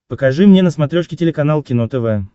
покажи мне на смотрешке телеканал кино тв